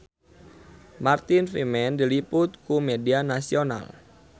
Martin Freeman diliput ku media nasional